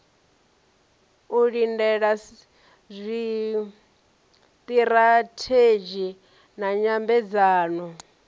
u lindela zwiṱirathedzhi na nyambedzano